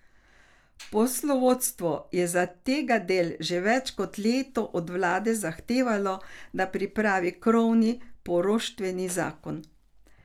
Poslovodstvo je zategadelj že več kot leto od vlade zahtevalo, da pripravi krovni poroštveni zakon.